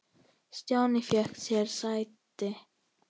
Stjáni fékk sér sæti.